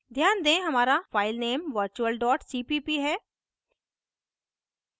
ध्यान दें हमारा file virtual cpp है